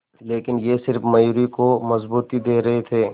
लेकिन ये सिर्फ मयूरी को मजबूती दे रहे थे